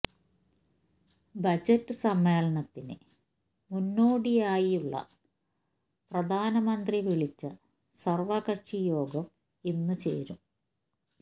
budget സമ്മേളനത്തിന് മുന്നോടിയായിയായുള്ള പ്രധാനമന്ത്രി വിളിച്ച സര്വകക്ഷി യോഗം ഇന്ന് ചേരും